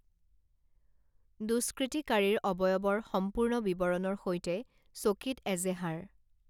দুষ্কৃতিকাৰীৰ অৱয়ৱৰ সম্পূৰ্ণ বিৱৰনৰ সৈতে চকীত এজেহাৰ